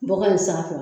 Bɔgɔ in sanfɛ